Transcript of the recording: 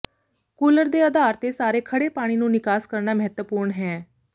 cooler ਦੇ ਅਧਾਰ ਤੇ ਸਾਰੇ ਖੜ੍ਹੇ ਪਾਣੀ ਨੂੰ ਨਿਕਾਸ ਕਰਨਾ ਮਹੱਤਵਪੂਰਨ ਹੈ